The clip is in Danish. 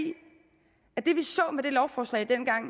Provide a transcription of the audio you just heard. og det vi så med det lovforslag dengang